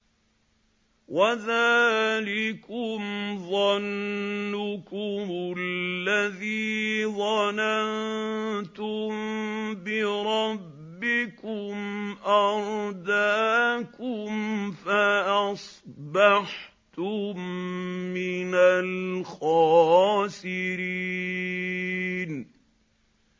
وَذَٰلِكُمْ ظَنُّكُمُ الَّذِي ظَنَنتُم بِرَبِّكُمْ أَرْدَاكُمْ فَأَصْبَحْتُم مِّنَ الْخَاسِرِينَ